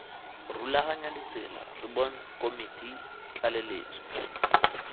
rulaganya ditsela rbbon komiti tlaleletso